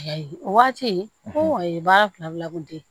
O waati ho ye baara fila kun te ye